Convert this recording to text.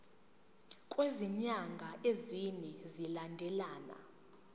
kwezinyanga ezine zilandelana